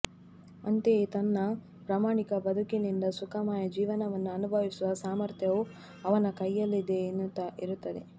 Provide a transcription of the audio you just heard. ಅಂತೆಯೇ ತನ್ನ ಪ್ರಮಾಣಿಕ ಬದುಕಿನಿಂದ ಸುಖಮಯ ಜೀವನವನ್ನು ಅನುಭವಿಸುವ ಸಾಮರ್ಥ್ಯವೂ ಅವನ ಕೈಯಲ್ಲಿಯೇ ಇರುತ್ತದೆ